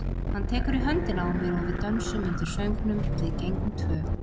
Hann tekur í höndina á mér og við dönsum undir söngnum Við gengum tvö.